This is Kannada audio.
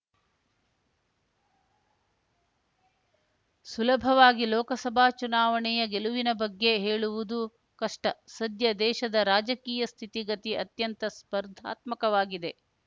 ಸುಲಭವಾಗಿ ಲೋಕಸಭಾ ಚುನಾವಣೆಯ ಗೆಲುವಿನ ಬಗ್ಗೆ ಹೇಳುವುದು ಕಷ್ಟ ಸದ್ಯ ದೇಶದ ರಾಜಕೀಯ ಸ್ಥಿತಿಗತಿ ಅತ್ಯಂತ ಸ್ಪರ್ಧಾತ್ಮಕವಾಗಿದೆ